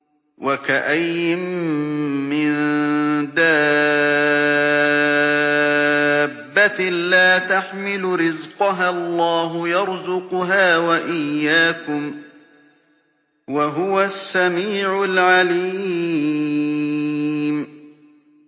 وَكَأَيِّن مِّن دَابَّةٍ لَّا تَحْمِلُ رِزْقَهَا اللَّهُ يَرْزُقُهَا وَإِيَّاكُمْ ۚ وَهُوَ السَّمِيعُ الْعَلِيمُ